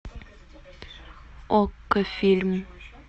окко фильм